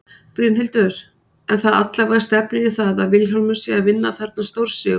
Brynhildur: En það allavega stefnir í það að Vilhjálmur sé að vinna þarna stórsigur?